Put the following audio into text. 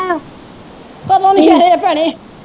ਕਦੋ ਨੌਸ਼ਹਿਰੇ ਭੈਣੇ